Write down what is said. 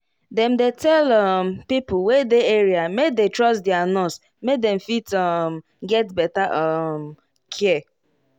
dem dey tell um pipo wey dey area make dey trust their nurse make dem fit um get better um care